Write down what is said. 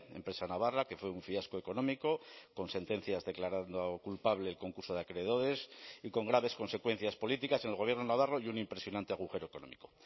empresa navarra que fue un fiasco económico con sentencias declarando culpable el concurso de acreedores y con graves consecuencias políticas en el gobierno navarro y un impresionante agujero económico